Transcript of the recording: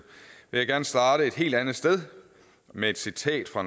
vil jeg gerne starte et helt andet sted med et citat fra